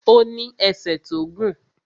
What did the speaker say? Ó ní ẹsẹ̀ tó gùn